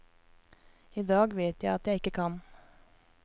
I dag vet jeg at jeg ikke kan.